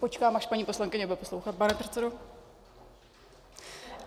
Počkám, až paní poslankyně bude poslouchat, pane předsedo...